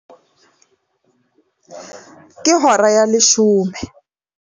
Ke hora ya leshome.